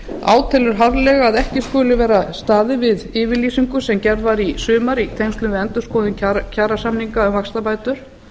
átelur harðlega að ekki skuli vera staðið við yfirlýsingu sem gerð var í sumar í tengslum við endurskoðum kjarasamningum um vaxtabætur